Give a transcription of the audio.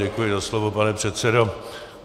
Děkuji za slovo, pane předsedo.